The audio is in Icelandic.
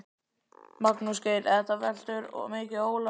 Magnús Geir: Þetta veltur mikið á Ólafi?